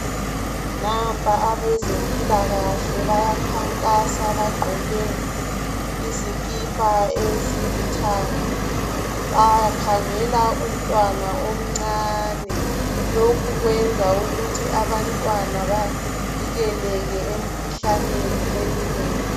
Nampa abezempilakahle, bayakhankasa. Bagqoke izikipa ezilithanga. Bakhangela umntwana omncane. Lokhu kwenza ukuthi abantwana bavikeleke emikhuhlaneni eminengi.